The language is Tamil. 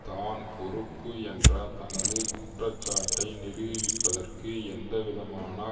தான் பொறுப்பு என்ற தனது குற்றச்சாட்டை நிரூபிப்பதற்கு எந்தவிதமான